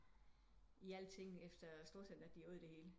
I alt ting efter storcenteret de åd det hele